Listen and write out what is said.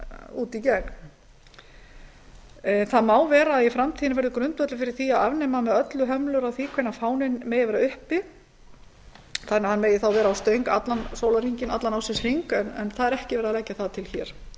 út í gegn það má vera að í framtíðinni verði grundvöllur fyrir því að afnema með öllu hömlur á því hvenær fáninn megi vera uppi þannig að hann megi þá vera á stöng allan sólarhringinn allan ársins hring en það er ekki verið að leggja það til hér